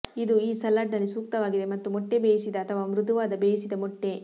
ಇದು ಈ ಸಲಾಡ್ನಲ್ಲಿ ಸೂಕ್ತವಾಗಿದೆ ಮತ್ತು ಮೊಟ್ಟೆ ಬೇಯಿಸಿದ ಅಥವಾ ಮೃದುವಾದ ಬೇಯಿಸಿದ ಮೊಟ್ಟೆ